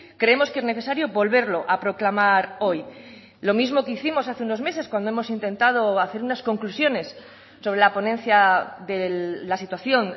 creemos que es necesario volverlo a proclamar hoy lo mismo que hicimos hace unos meses cuando hemos intentado hacer unas conclusiones sobre la ponencia de la situación